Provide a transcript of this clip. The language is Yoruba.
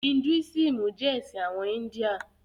Hidúísìmù jẹ́ ẹ̀sìn àwọn India.